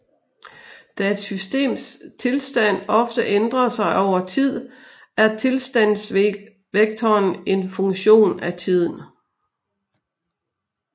Da et systems tilstand ofte ændrer sig over tid er tilstandsvektoren en funktion af tiden